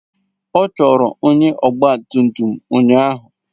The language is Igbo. Ọ chọrọ onye ọgba tum tum ụnyaahụ.